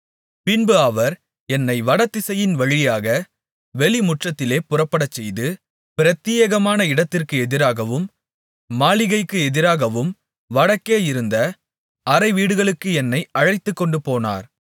பின்பு அவர் என்னை வடதிசையின் வழியாக வெளிமுற்றத்திலே புறப்படச்செய்து பிரத்தியேகமான இடத்திற்கு எதிராகவும் மாளிகைக்கு எதிராகவும் வடக்கே இருந்த அறைவீடுகளுக்கு என்னை அழைத்துக்கொண்டுபோனார்